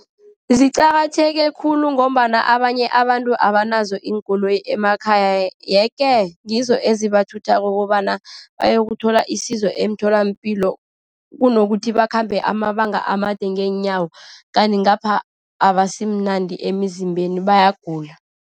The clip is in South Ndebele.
Ziqakatheke khulu ngombana abanye abantu abanazo iinkoloyi emakhaya. Yeke ngizo ezibathuthako kobana bayokuthola isizo emtholampilo. Kunokuthi bakhambe amabanga amade ngeenyawo, kanti ngapha abasimnandi emizimbeni, bayagula.